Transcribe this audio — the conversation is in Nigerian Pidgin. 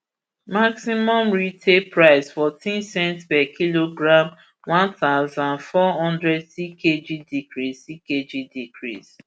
maximum lpgas retail price fourteen cents per kilogram one thousand, four hundred ckg decrease ckg decrease